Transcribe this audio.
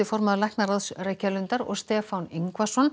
formann læknaráðs Reykjalundar og Stefán Yngvason